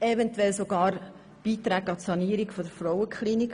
Eventuell braucht es sogar Beiträge an die Sanierung der Frauenklinik.